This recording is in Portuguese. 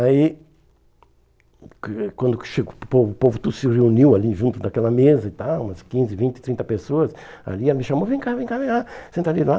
Aí, que quando che o povo o povo todo se reuniu ali junto daquela mesa e tal, umas quinze, vinte, trinta pessoas ali, ela me chamou, vem cá, vem cá, vem cá, senta ali lá.